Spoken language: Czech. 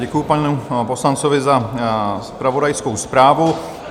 Děkuji panu poslanci za zpravodajskou zprávu.